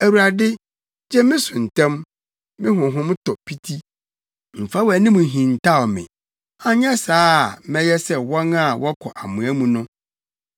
Awurade, gye me so ntɛm; me honhom tɔ piti. Mfa wʼanim nhintaw me anyɛ saa a mɛyɛ sɛ wɔn a wɔkɔ amoa mu no.